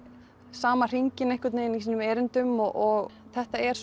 sama hringinn í sínum erindum og þetta er